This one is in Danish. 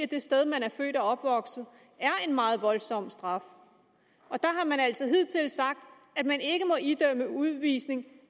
det sted man er født og opvokset er en meget voldsom straf og der har man altså hidtil sagt at man ikke må idømme udvisning